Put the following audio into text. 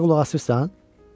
Mənə qulaq asırsan?